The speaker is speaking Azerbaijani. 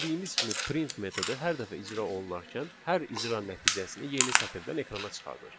Bildiyimiz kimi print metodu hər dəfə icra olunarkən, hər icra nəticəsini yeni sətirdən ekrana çıxardır.